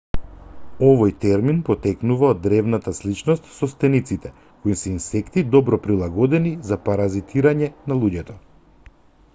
овој термин потекнува од древната сличност со стениците кои се инсекти добро прилагодени за паразитирање на луѓето